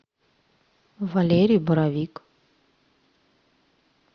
валерий боровик